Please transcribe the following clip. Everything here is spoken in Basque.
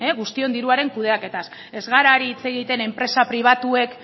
guztion diruaren kudeaketaz ez gara ari hitz egiten enpresa pribatuek